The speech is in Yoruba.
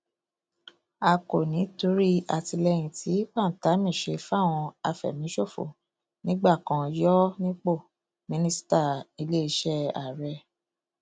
a kò ní í torí àtìlẹyìn tí pantami ṣe fáwọn àfẹmíṣòfò nígbà kan yọ ọ nípò mínísítàiléeṣẹ ààrẹ